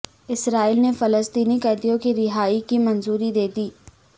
اسرائیل نے فلسطینی قیدیوں کی رہائی کی منظوری دے دی